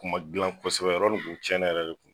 Kuma dilan kɔsɛbɛ yɔrɔ nin kun cɛnnen yɛrɛ de kun